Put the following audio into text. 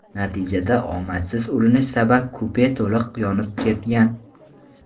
Natijada omadsiz urinish sabab kupe to‘liq yonib ketgan.